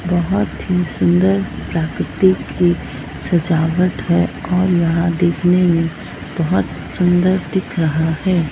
बहुत ही सुंदर प्राकृतिक की सजावट है और यहां देखने में बहुत सुंदर दिख रहा है।